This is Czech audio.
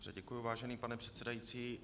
Děkuji, vážený pane předsedající.